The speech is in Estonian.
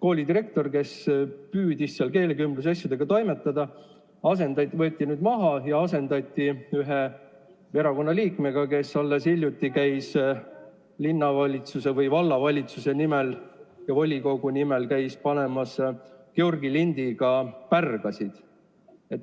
koolidirektor, kes püüdis seal keelekümblusasjadega toimetada, võeti maha ja asendati ühe erakonnaliikmega, kes alles hiljuti käis linnavalitsuse või vallavalitsuse nimel ja volikogu nimel panemas Georgi lindiga pärgasid.